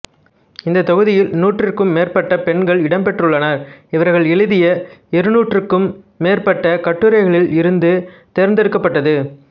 இந்த தொகுதியில் நூற்றுக்கும் மேற்பட்ட பெண்கள் இடம்பெற்றுள்ளனர் இவர்கள் எழுதிய இருநூறுக்கும் மேற்பட்ட கட்டுரைகளில் இருந்து தேர்ந்தெடுக்கப்பட்டது